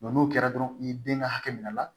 n'o kɛra dɔrɔn i den ka hakɛ minɛ a la